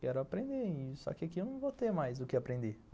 Quero aprender, só que aqui eu não vou ter mais o que aprender.